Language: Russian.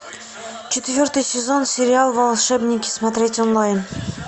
четвертый сезон сериал волшебники смотреть онлайн